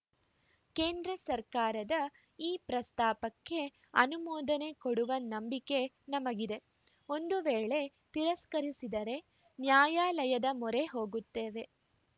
ಕೇಂದ್ರ ಸರ್ಕಾರ ಈ ಪ್ರಸ್ತಾಪಕ್ಕೆ ಅನುಮೋದನೆ ಕೊಡುವ ನಂಬಿಕೆ ನಮಗಿದೆ ಒಂದು ವೇಳೆ ತಿರಸ್ಕರಿಸಿದರೆ ನ್ಯಾಯಾಲಯದ ಮೊರೆ ಹೋಗುತ್ತೇವೆ